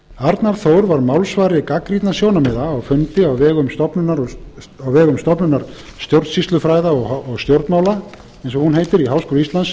arnar þór var málsvari gagnrýnna sjónarmiða á fundi á vegum stofnunar stjórnsýslufræða og stjórnmála eins og hún heitir í háskóla íslands